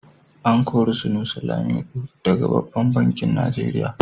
A kori Sunusi Lamido daga babban banki Nigeria.